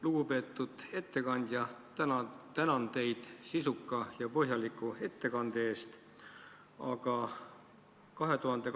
Lugupeetud ettekandja, tänan teid sisuka ja põhjaliku ettekande eest!